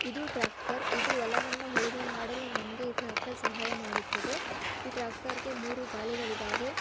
ಇದು ಟ್ರ್ಯಾಕ್ಟರ್ ಇದು ಹೊಲವನ್ನು ಉಳುಮೆ ಮಾಡಲು ನನಗೆ ಈ ಟ್ರ್ಯಾಕ್ಟರ್ ಸಹಾಯ ಮಾಡುತ್ತದೆ ಈ ಟ್ರ್ಯಾಕ್ಟರ್ ಗೆ ಮೂರು ಗಾಲಿಗಳಿದವೆ--